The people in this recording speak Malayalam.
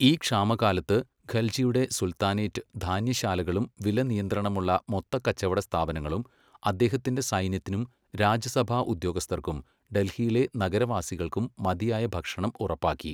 ഈ ക്ഷാമകാലത്ത് ഖൽജിയുടെ സുൽത്താനേറ്റ് ധാന്യശാലകളും വിലനിയന്ത്രണമുള്ള മൊത്തക്കച്ചവട സ്ഥാപനങ്ങളും അദ്ദേഹത്തിന്റെ സൈന്യത്തിനും രാജസഭാ ഉദ്യോഗസ്ഥർക്കും ഡൽഹിയിലെ നഗരവാസികൾക്കും മതിയായ ഭക്ഷണം ഉറപ്പാക്കി.